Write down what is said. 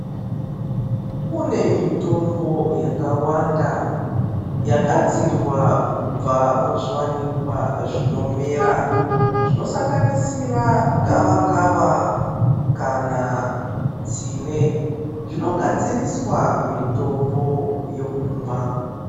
Kune mitombo yakawanda yagadzirwa kubva muzviwanikwa zvinomera, zvonosanganisira gawakawa kana tsine, zvinogadziriswa mitombo yokumwa.